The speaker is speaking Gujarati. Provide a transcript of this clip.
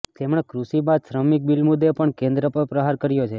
તેમણે કૃષિ બાદ શ્રમિક બિલ મુદ્દે પણ કેન્દ્ર પર પ્રહાર કર્યો છે